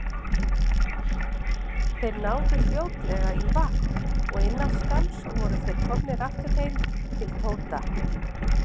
Þeir náðu fljótlega í vagn og innan skamms voru þeir komnir aftur heim til Tóta.